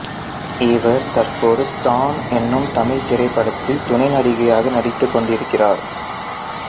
இவர் தற்போது டான் எனும் தமிழ் திரைப்படத்தில் துணை நடிகையாக நடித்து கொண்டிருக்கிறார்